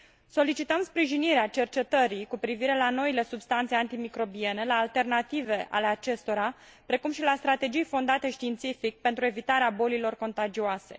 Solicităm sprijinirea cercetării cu privire la noile substanțe antimicrobiene, la alternative ale acestora, precum și la strategii fondate științific, pentru evitarea bolilor contagioase.